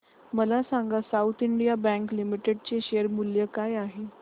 मला सांगा South Indian Bank Limited चे शेअर मूल्य काय आहे